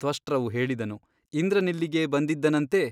ತ್ವಷ್ಟೃವು ಹೇಳಿದನು ಇಂದ್ರನಿಲ್ಲಿಗೆ ಬಂದಿದ್ದನಂತೆ !